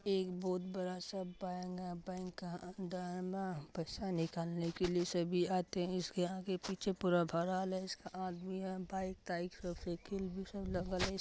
एक बहुत बड़ा-सा बैंक है बैंक के अंदर मे पैसा निकालने के लिए सभी आते है इसके आगे पीछे पूरा भरल है इसका आदमी है।